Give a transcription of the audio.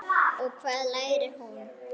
Og hvað lærir hún?